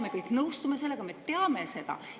Me kõik nõustume sellega, me teame seda.